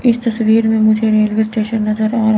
इस तस्वीर में मुझे रेलवे स्टेशन नजर आ रहा--